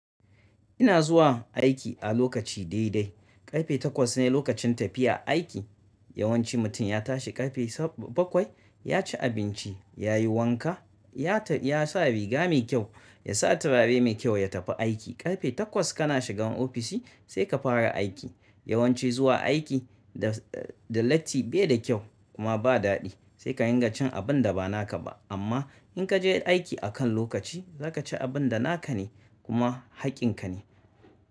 Ina zuwa aiki a lokaci dai dai. Karfe takwas ne lokacin tafiya aiki. Yawanci mutum ya tashi karfe bakwai, ya ci abinci, ya yi wanka, ya sa riga mai kyau, ya sa turare mai kyau, ya tafi aiki. Karfe takwas ka na shigan ofishi sai ka fara aiki. Yawanci zuwa aiki da letti baida kyau kuma ba daɗi. Sai ka ringa cin abun da ba naka ba. Amma in ka je aiki akan lokaci, za ka ci abin da naka ne kuma haƙƙin ka ne.